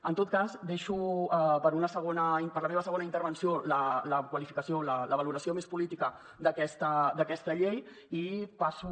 en tot cas deixo per a la meva segona intervenció la qualificació la valoració més política d’aquesta llei i passo